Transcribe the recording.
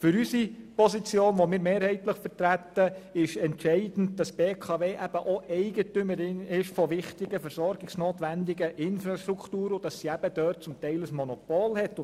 Für unsere Position, die wir mehrheitlich vertreten, ist entscheidend, dass die BKW auch Eigentümerin wichtiger versorgungsnotwendiger Infrastrukturen ist und in diesen Bereichen teilweise über ein Monopol verfügt.